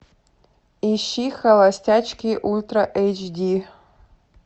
ищи холостячки ультра эйч ди